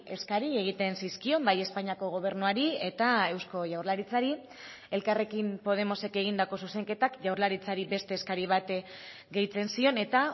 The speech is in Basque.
eskari egiten zizkion bai espainiako gobernuari eta eusko jaurlaritzari elkarrekin podemosek egindako zuzenketak jaurlaritzari beste eskari bat gehitzen zion eta